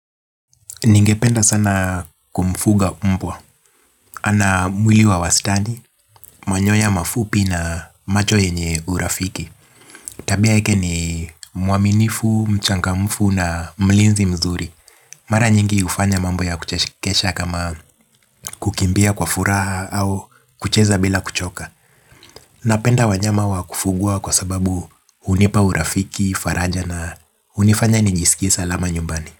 Ningependa sana kumfuga mbwa ana mwili wa wastani, manyoya mafupi na macho yenye urafiki. Tabia yake ni mwaminifu, mchangamfu na mlinzi mzuri. Mara nyingi hufanya mambo ya kuchekesha kama kukimbia kwa furaha au kucheza bila kuchoka. Napenda wanyama wa kufugwa kwa sababu hunipa urafiki, faraja na hunifanya nijisikie salama nyumbani.